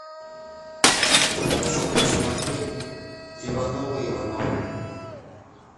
хочу посмотреть ивановы ивановы